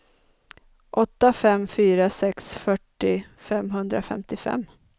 åtta fem fyra sex fyrtio femhundrafemtiofem